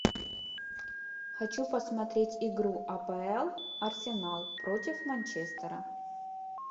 хочу посмотреть игру апл арсенал против манчестера